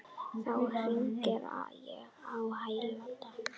Þá hringdi ég á hjálp.